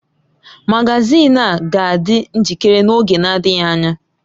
Magazin a ga-adị njikere n’oge na-adịghị anya.